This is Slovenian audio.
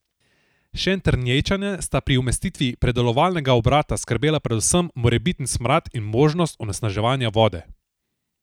Šentjernejčane sta pri umestitvi predelovalnega obrata skrbela predvsem morebiten smrad in možnost onesnaženja vode.